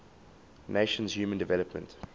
nations human development